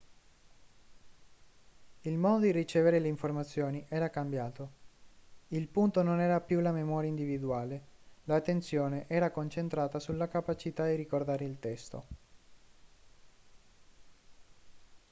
il modo di ricevere le informazioni era cambiato il punto non era più la memoria individuale l'attenzione era concentrata sulla capacità di ricordare il testo